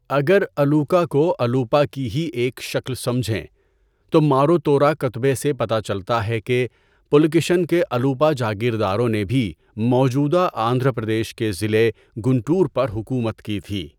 اگر 'الوکا' کو 'الوپا' کی ہی ایک شکل سمجھیں، تو ماروتورا کتبے سے پتہ چلتا ہے کہ پُلکیشن کے الوپا جاگیرداروں نے بھی موجودہ آندھرا پردیش کے ضلع گنٹور پر حکومت کی تھی۔